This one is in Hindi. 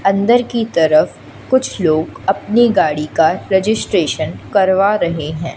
अंदर की तरफ कुछ लोग अपनी गाड़ी का रजिस्ट्रेशन करवा रहे हैं।